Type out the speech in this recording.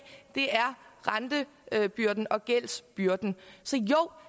er rentebyrden og gældsbyrden så jo